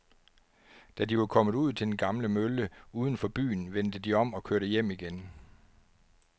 Da de var kommet ud til den gamle mølle uden for byen, vendte de om og kørte hjem igen.